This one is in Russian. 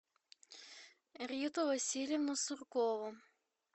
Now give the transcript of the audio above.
риту васильевну суркову